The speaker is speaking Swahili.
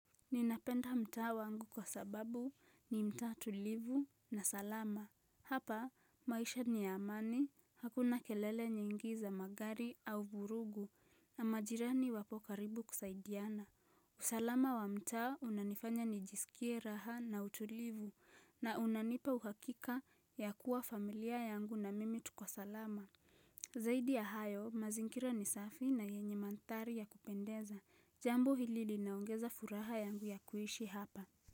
Ninapenda mtaa wangu kwa sababu ni mtaa tulivu na salama. Hapa maisha ni ya amani, hakuna kelele nyingi za magari au vurugu na majirani wapo karibu kusaidiana usalama wa mtaa unanifanya nijisikie raha na utulivu na unanipa uhakika ya kuwa familia yangu na mimi tuko salama Zaidi ya hayo, mazingira ni safi na yenye mandhari ya kupendeza. Jambo hili linaongeza furaha yangu ya kuishi hapa.